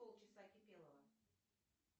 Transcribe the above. полчаса кипелова